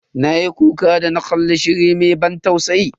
Na yi kuka da na kalli shirin mai ban tausayi.